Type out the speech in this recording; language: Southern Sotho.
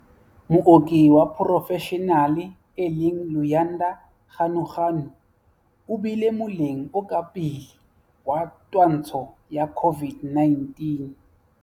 Mooki wa porofeshenale e leng Luyanda Ganuganu o bile moleng o ka pele wa twantsho ya COVID-19